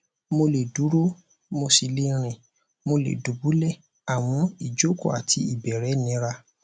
mo lè dúró mo sì le rìn mo lè dùbúlẹ àmọ ìjókòó àti ìbẹrẹ nira